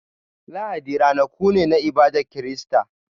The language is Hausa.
Lahadi ranaku ne na ibadar Kirista.